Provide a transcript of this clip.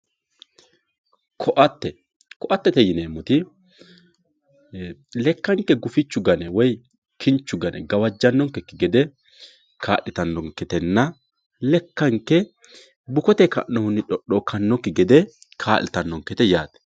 koatte koattete yineemmoti lekkanke kinchu gane woyi gufichu gane gawajjannokki gede kaa'litannonketenna lekkanke bukotenni ka'nohunni xoxookkannokki gede kaa'litannonkete yaate.